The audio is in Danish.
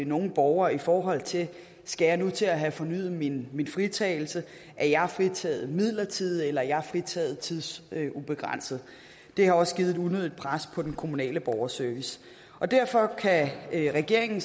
nogle borgere i forhold til skal jeg nu til at have fornyet min fritagelse er jeg fritaget midlertidigt eller er jeg fritaget tidsubegrænset det har også givet et unødigt pres på den kommunale borgerservice derfor kan regeringen